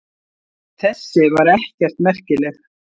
Þessi var ekkert merkileg.